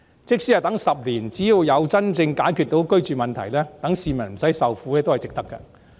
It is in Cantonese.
即使要等10年，只要能真正解決居住問題，讓市民不用受苦，也是值得的。